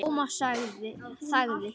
Thomas þagði.